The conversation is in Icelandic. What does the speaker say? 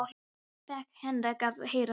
Þess vegna fékk Henrik að heyra það.